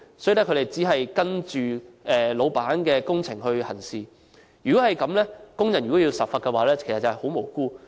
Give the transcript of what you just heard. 所以，他們只是依照老闆的工程行事，如果這樣，工人都要受罰，便會十分無辜。